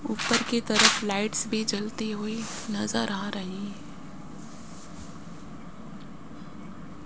ऊपर की तरफ लाइट्स भी जलती हुई नजर आ रही--